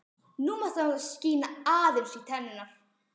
Nú mátti hann láta skína aðeins í tennurnar.